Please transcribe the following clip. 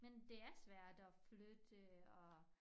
Men det er svært at flytte og